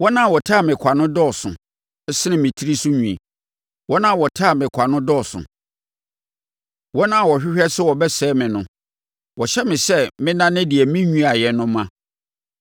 Wɔn a wɔtane me kwa no dɔɔso sene me tiri so nwi; wɔn a wɔtane me kwa no dɔɔso, wɔn a wɔhwehwɛ sɛ wɔbɛsɛe me no. Wɔhyɛ me sɛ mennane deɛ menwiaaɛ no mma.